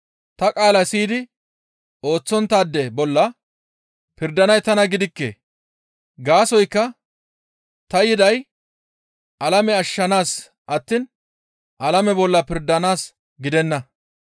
Ta qaala siyidi ooththonttaade bolla pirdanay tana gidikke. Gaasoykka ta yiday alame ashshanaas attiin alame bolla pirdanaas gidenna.